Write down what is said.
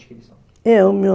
Da onde que eles são?